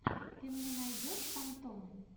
ты мне найдешь фантом